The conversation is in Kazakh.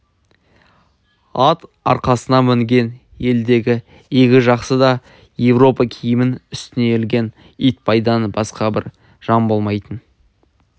ат арқасына мінген елдегі игі жақсы да европа киімін үстіне ілген итбайдан басқа бір жан болмайтын